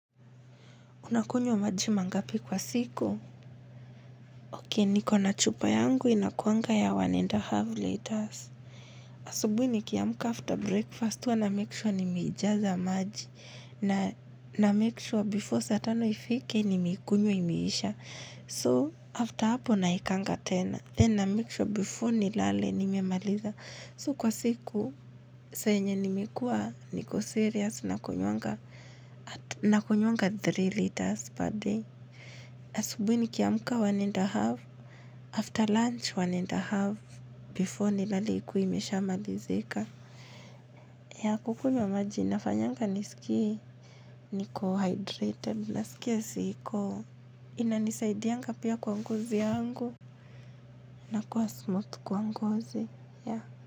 Unakunywa maji mangapi kwa siku? Ki nikona chupa yangu inakuanga ya one and a half liters. Asubuhi nikiamka after breakfast, huwa na make sure nimeijaza maji. Na na make sure before saa tano ifike, nimeikunywa imeisha. So, after hapo naekanga tena. Then na make sure before nilale, nimemaliza. So, kwa siku, saa yenye nimekuwa niko serious nakunywanga nakunywanga three liters per day. Asubuhi nikiamka one and a half After lunch one and a half Before nilale ikuwe imeshamalizika. Ya kukunywa maji nafanyanga nisikie. Niko hydrated. Nasikia siko. Inanisaidianga pia kwa ngozi yangu. Na kuwa smooth kwa ngozi ya.